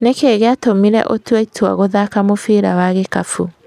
Nĩki gĩatũmire ũtue itua gũthaka mũbira wa gĩkabũ?